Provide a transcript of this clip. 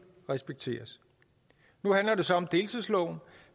respekteres nu handler det så om deltidsloven